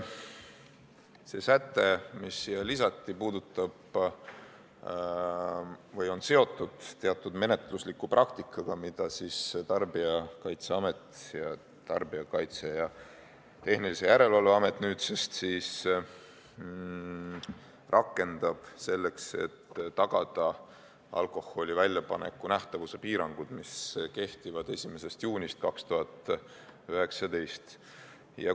See säte, mis siia lisati, on seotud teatud menetlusliku praktikaga, mida Tarbijakaitse ja Tehnilise Järelevalve Amet rakendab selleks, et tagada alkoholi väljapanekul nähtavuse piirangud, mis kehtivad 1. juunist 2019.